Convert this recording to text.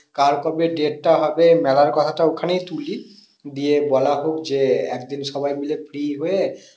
কার কবে date টা হবে মেলার কথাটা ওখানেই তুলি দিয়ে বলা হোক যে একদিন সবাই মিলে free হয়ে